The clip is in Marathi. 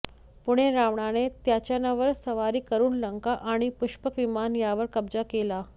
पुढे रावणाने त्याच्यावर स्वारी करून लंका आणि पुष्पक विमान यावर कब्जा केला